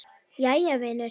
Jæja, vinur.